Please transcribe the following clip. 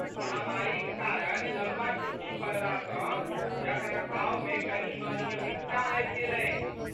महामारीक कारण लम्बा छुट्टी पड़लासँ रखरखावमे कने अनियमितता आबि गेल अछि।